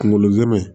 Kunkolo ɲuman in